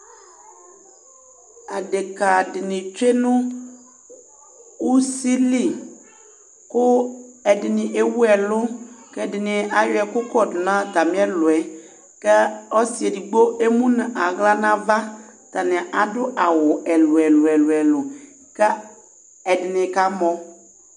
Adekǝ dɩnɩ tsue usi li kʋ ɛdɩnɩ ewu ɛlʋ kʋ ɛdɩnɩ ayɔ ɛkʋ kɔdʋ atamɩ ɛlʋ yɛ kʋ ɔsɩ edigbo emu nʋ aɣla nʋ ava Atanɩ adʋ awʋ ɛlʋ-ɛlʋ kʋ ɛdɩnɩ kamɔ